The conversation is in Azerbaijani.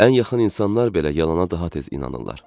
Ən yaxın insanlar belə yalana daha tez inanırlar.